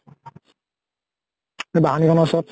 বাহনী খ্নৰ ওচৰত